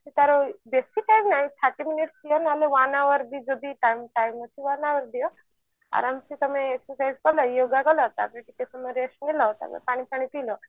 ସେ ତାର ବେଶୀ time ନାହିଁ thirty minute ହେଲେ ନହେଲେ one hours ବି ଯଦି time time ଅଛି ତାହେଲେ ହେଇଯିବ ଆରମ ସେ ତମେ exercise କଲ yoga କଲ ତାପରେ ଟିକେ ସମୟ rest ନେଲ ତାପରେ ପାଣି ଫାଣି ପିଇଲ